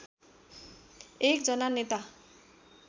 एक जना नेता